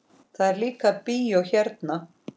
Það er líka bíó hérna.